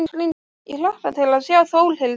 Ég hlakka til að sjá Þórhildi.